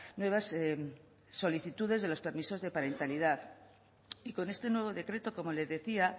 nuevas solicitudes de los permisos de parentalidad y con este nuevo decreto como le decía